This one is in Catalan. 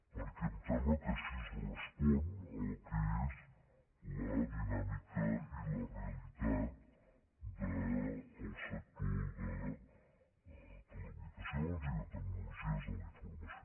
perquè em sembla que així es respon al que és la dinàmica i la re·alitat del sector de telecomunicacions i de tecnologies de la informació